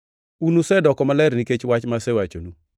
Un usedoko maler nikech wach ma asewachonu.